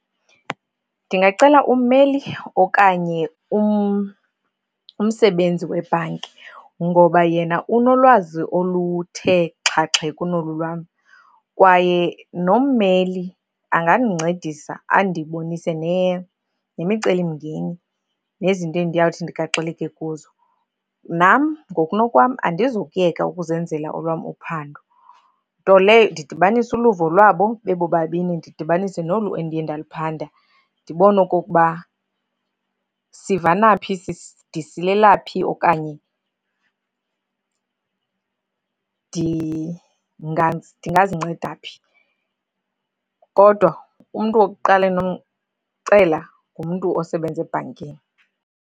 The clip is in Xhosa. Ndingacela ummeli okanye umsebenzi webhanki ngoba yena unolwazi oluthe xhaxhe kunolu lwam, kwaye nommeli angandincedisa andibonise nemicelimngeni, nezinto endiyawuthi ndigaxeleke kuzo. Nam ngokunokwam andizukuyeka ukuzenzela olwam uphando. Nto leyo, ndidibanise uluvo lwabo bebobabini ndidibanise nolu endiye ndaluphanda ndibone okokuba sivana phi, ndisilela phi okanye ndingazinceda phi. Kodwa umntu wokuqala endinomcela ngumntu osebenza ebhankini.